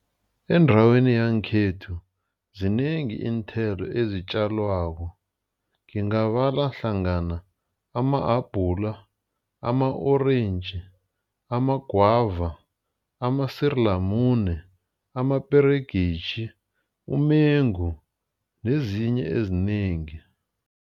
Endaweni yangekhethu zinengi iinthelo ezitjalwako. Ngingabala hlangana ama-abhula, ama-orentji, amagwava, amasirilamune, amaperegisi, umengu, nezinye ezinengi.